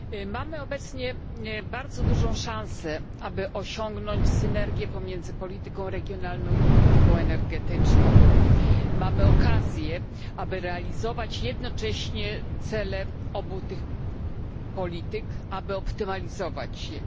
Mamy obecnie bardzo dużą szansę, aby osiągnąć synergię pomiędzy polityką regionalną i polityką energetyczną, mamy okazję, aby realizować jednocześnie cele obu tych polityk, aby optymalizować je.